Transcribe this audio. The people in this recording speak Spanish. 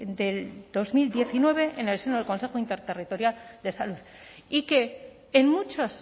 del dos mil diecinueve en el seno del consejo interterritorial de salud y que en muchas